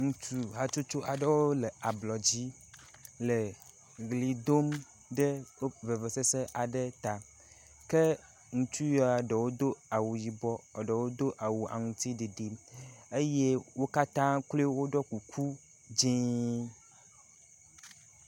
Ŋutsu hatsotso aɖewo le ablɔdzi le ʋli dom ɖe vevesese aɖe ta ke ŋutsuya ɖewo do awu yibɔ eye ɖewo do aŋtsiɖiɖi eye wo katã kloe woɖɔ kuku dzi.